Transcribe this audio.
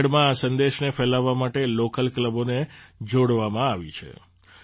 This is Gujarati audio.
ચંડીગઢમાં આ સંદેશને ફેલાવવા માટે લૉકલ ક્લબોને જોડવામાં આવી છે